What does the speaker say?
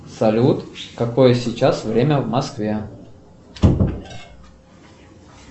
салют какое сейчас время в москве